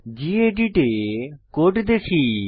gedit এ code দেখি